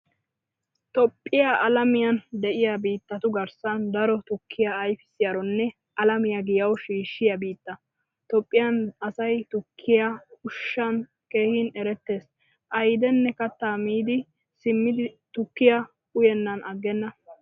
Toophphiyaa alamiyan deiya biittatu garssan daro tukkiyaa ayfisiyaronne alamiyaa giyawu shiishiyaa biitta. Toophphiyaan asay tukkiyaa ushshan keehin eretees. Ayddine katta miidi simmidi tukkiyaa uyenan aggena.